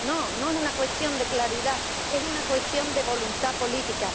No, no es una cuestión de claridad es una cuestión de voluntad política